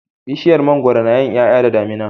Bishiyar mangwaro nayin yaya da damina